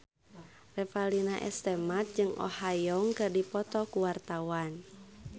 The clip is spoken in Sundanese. Revalina S. Temat jeung Oh Ha Young keur dipoto ku wartawan